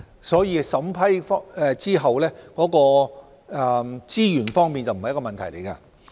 所以在審批後，資源方面不是問題。